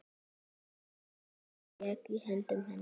Matseld lék í höndum hennar.